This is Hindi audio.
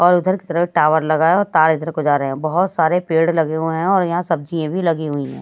और उधर की तरफ टावर लगा है और तार इधर को जा रहे हैं बहुत सारे पेड़ लगे हुए हैं और यहां सब्जियां भी लगी हुई है।